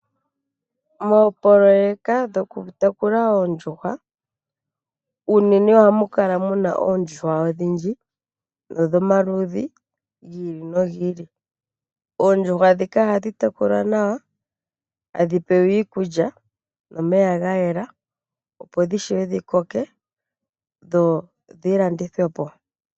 Moopoloeka shokutekula oondjuhwa , unene ohamu kala muna oondjuhwa odhindji nodhomaludhi gi ili nogi ili. Oondjuhwa ndhika ohadhi tekulwa nawa, etadhi pewa iikulya nomeya gayela opo dhiwape dhikoke nodhilandithwepo.